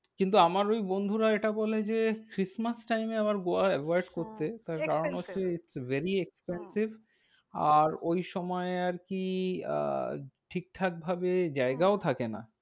কিন্তু আমার ওই বন্ধুরা এটা বলে যে, christmas time এ আবার গোয়া avoid করতে। হ্যাঁ expenses কারণ হচ্ছে very expensive. হ্যাঁ আর ওই সময় কি আহ ঠিকঠাক ভাবে জায়গাও থাকেনা।